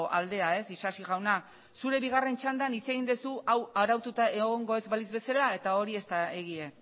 aldea ez isasi jauna zure bigarren txandan hitz egin duzu hau araututa egongo ez balitz bezala eta hori ez da egia